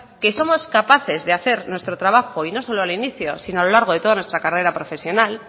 que somos capaces de hacer nuestro trabajo y no solo al inicio sino a lo largo de toda nuestra carrera profesional